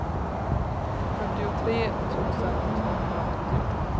fyrtiotre tusen tvåhundraåttio